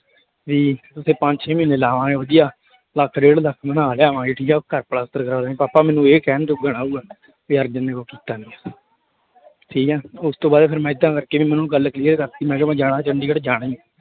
ਵੀ ਉੱਥੇ ਪੰਜ ਛੇ ਮਹੀਨੇ ਲਾਵਾਂਗੇ ਵਧੀਆ, ਲੱਖ ਡੇਢ ਲੱਖ ਬਣਾ ਲਿਆਂਵਾਂਗੇ ਠੀਕ ਆ, ਘਰ ਪਲਸਤਰ ਕਰਵਾ ਲਵਾਂਗੇ, ਪਾਪਾ ਮੈਨੂੰ ਇਹ ਕਹਿਣ ਜੋਗਾ ਨਾ ਹੋਊਗਾ ਵੀ ਅਰਜਨ ਨੇ ਉਹ ਕੀਤਾ ਨੀ ਹੈ ਠੀਕ ਹੈ ਉਸ ਤੋਂ ਬਾਅਦ ਫਿਰ ਮੈਂ ਏਦਾਂ ਕਰਕੇ ਵੀ ਮੈਨੂੰ ਗੱਲ clear ਕਰ ਦਿੱਤੀ ਮੈਂ ਕਿਹਾ ਮੈਂ ਜਾਣਾ ਚੰਡੀਗੜ੍ਹ ਜਾਣਾ ਹੀ ਹੈ।